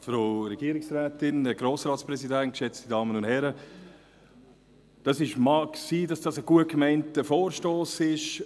Es mag sein, dass es ein gut gemeinter Vorstoss ist.